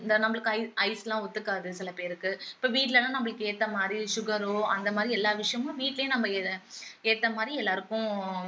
இந்தா நம்மளுக்கு ஐஸ் ஐஸ்லாம் ஒத்துக்காது சில பேருக்கு இப்போ வீட்டுலன்னா நம்மளுக்கு ஏத்த மாதிரி sugar ஓ அந்த மாதிரி எல்லா விஷயமும் வீட்டுலேயே நம்ம இத ஏத்த மாதிரி எல்லாருக்கும்